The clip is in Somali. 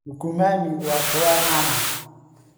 Nukumami waa khudaar caan ah.